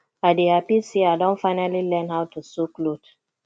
i dey happy say i don finally learn how to sew cloth